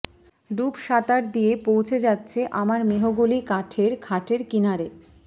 ডুবসাঁতার দিয়ে পৌঁছে যাচ্ছে তোমার মেহগলি কাঠের খাটের কিনারে